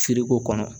Feereko kɔnɔ